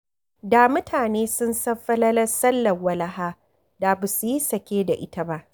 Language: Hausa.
Da mutane sun san falalar sallar walaha da ba su yi sake da ita ba.